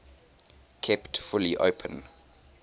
kept fully open